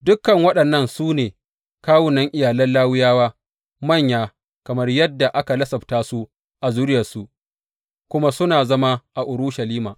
Dukan waɗannan su ne kawunan iyalan Lawiyawa, manya kamar yadda aka lissafta su a zuriyarsu, kuma suna zama a Urushalima.